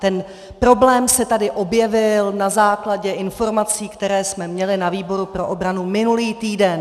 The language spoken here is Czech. Ten problém se tady objevil na základě informací, které jsme měli na výboru pro obranu minulý týden.